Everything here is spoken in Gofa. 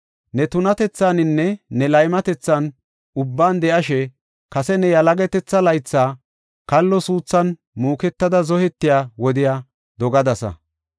Ne tunatethaaninne ne laymatethan ubban de7ashe, kase ne yalagatetha laytha, kallo suuthan muuketada zohetiya wodiya dogadasa.